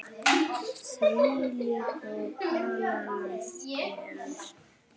Þvílíkt og annað eins frelsi!